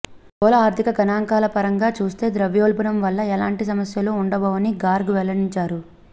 స్థూల ఆర్ధిక గణాంకాలపరంగా చూస్తే ద్రవ్యోల్బణంవల్ల ఎలాంటి సమస్యలు ఉండబోవని గార్గ్ వెల్లడించారు